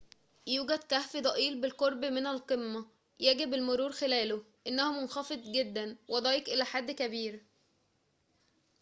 يوجد كهف ضئيل بالقرب من القمة يجب المرور خلاله إنه منخفض جداً وضيّق إلى حد كبير